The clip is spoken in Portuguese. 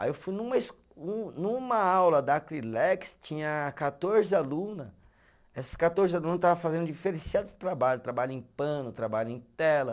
Aí eu fui numa es, um numa aula da Acrilex, tinha quatorze aluna, essas quatorze aluna estava fazendo um diferenciado trabalho, trabalho em pano, trabalho em tela.